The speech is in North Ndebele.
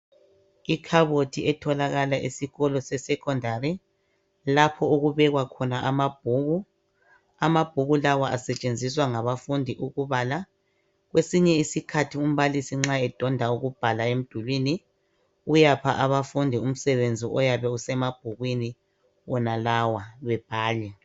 Ikhabothi etholakala esikolo sekhondari lapho okubekwa khona amabhuku, amabhuku lawo asetshenziswa ngabafundi ukubala kwesinye isikhathi umbalisi nxa endonda ukubhala emdulwini uyapha abafundi umsebenzi oyabe usemabhukwini wonalawa bebhale.